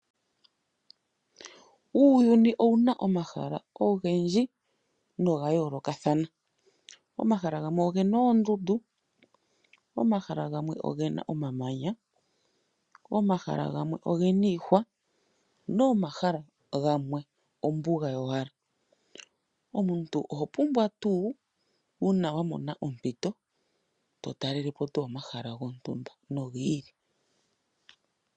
Uuyuni owuna omahala ogendji noga yoolokathana . Omahala gamwe ogena oondundu . Omahala gamwe ogena omamanya. Omahala gamwe ogena iihwa ,nomahala gamwe ombuga yowala . Omuntu ohopumbwa tuu uuna wamona ompito to talelepo omahala gontumba nogi ili.